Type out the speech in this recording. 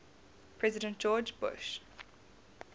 president george bush